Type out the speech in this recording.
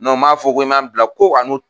m'a fɔ ko i ma bila ko